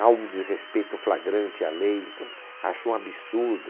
Há um desrespeito flagrante à lei, então, acho um absurdo.